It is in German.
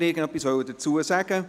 Dazu will niemand etwas sagen.